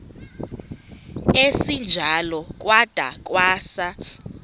esinjalo kwada kwasa